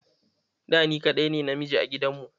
Da, ni kaɗai ne namiji a gidanmu.